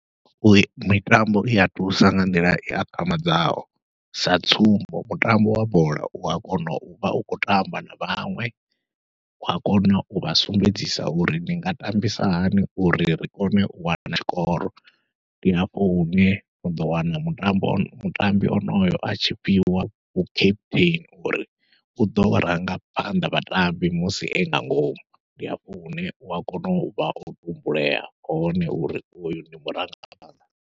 U mitambo ia thusa nga nḓila i akhamadzaho, sa tsumbo mutambo wa bola ua kona uvha u khou tamba na vhaṅwe ua kona uvha sumbedzisa uri ndi nga tambisa hani uri ri kone u wana tshikoro. Ndi hafho hune uḓo wana mutambi ane mutambi onoyo atshi fhiwa vhu captain uri uḓo rangaphanḓa vhatambi musi e nga ngomu, ndi hafho hune ua kona uvha o tumbulea hone uri hoyu ndi murangaphanḓa.